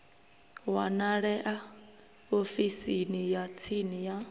wanalea ofisini ya tsini ya